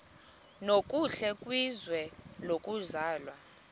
nokuhle kwizwe lokuzalwa